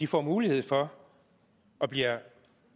får mulighed for og bliver